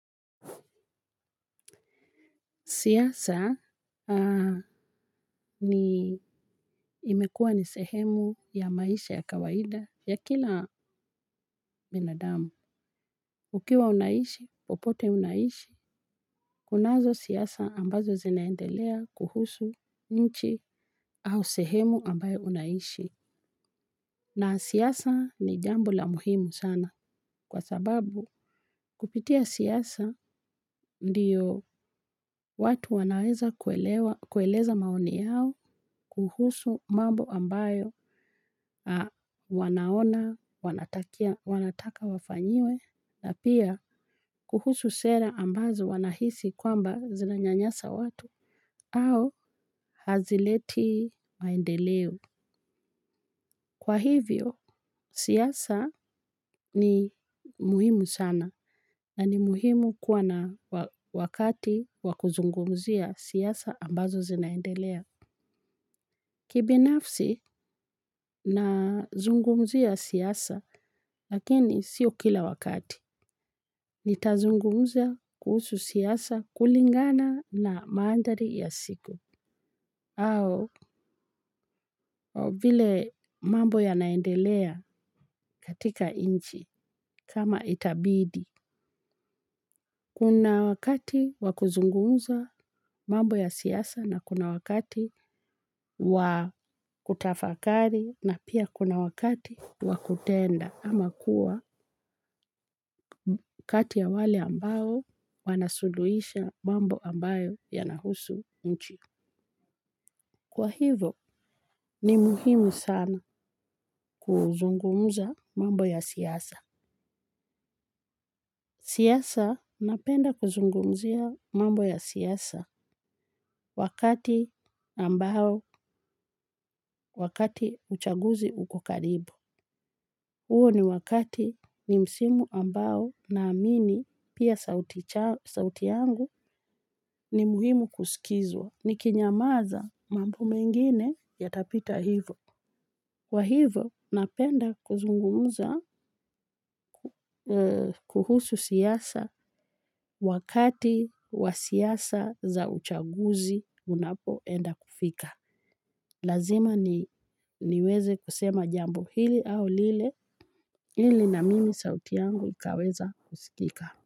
Siasa ni imekua ni sehemu ya maisha ya kawaida ya kila binadamu ukiwa unaishi popote unaishi kunazo siasa ambazo zinaendela kuhusu nchi au sehemu ambayo unaishi. Na siasa ni jambo la muhimu sana kwa sababu kupitia siasa ndiyo watu wanaweza kueleza maoni yao kuhusu mambo ambayo wanaona, wanataka wafanyiwe na pia kuhusu sera ambazo wanahisi kwamba zinanyanyasa watu au hazileti maendeleo. Kwa hivyo, siasa ni muhimu sana na ni muhimu kuwa na wakati wa kuzungumzia siasa ambazo zinaendelea. Kibinafsi nazungumzia siasa lakini siyo kila wakati. Nitazungumza kuhusu siasa kulingana na manthari ya siku. Au vile mambo yanaendelea katika nchi kama itabidi. Kuna wakati wakuzungumza mambo ya siyasa na kuna wakati wakutafakari na pia kuna wakati wakutenda. Ama kuwa kati ya wale ambayo wanasuluhisha mambo ambayo yanahusu nchi. Kwa hivo, ni muhimu sana kuzungumza mambo ya siasa. Siasa, napenda kuzungumzia mambo ya siasa wakati ambayo wakati uchaguzi uko karibu. Huo ni wakati ni msimu ambao naamini pia sauti yangu ni muhimu kusikizwa. Nikinyamaza mambo mengine yatapita hivo. Kwa hivo napenda kuzungumuza kuhusu siasa wakati wa siasa za uchaguzi unapoenda kufika. Lazima niweze kusema jambo hili au lile ili na mimi sauti yangu ikaweza kusikika.